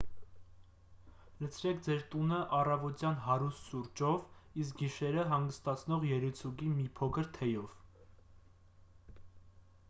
լցրեք ձեր տունը առավոտյան հարուստ սուրճով իսկ գիշերը հանգստացնող երիցուկի մի փոքր թեյով